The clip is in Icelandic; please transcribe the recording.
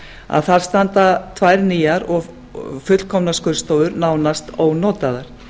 að þar standa tvær nýjar og fullkomnar skurðstofur nánast ónotaðar